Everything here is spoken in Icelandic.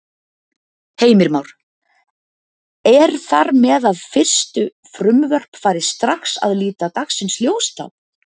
Heimir Már: Er þar með að fyrstu frumvörp fari strax að líta dagsins ljós þá?